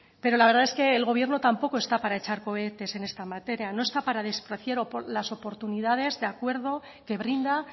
pero la verdad es que el gobierno tampoco está para echar cohetes en esta materia no está para despreciar las oportunidades de acuerdo que brinda